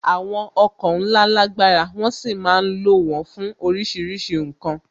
Àwọn ọkọ̀ ńlá lágbára, wón sì ma ń lo wón fún oríṣiríṣi ǹkan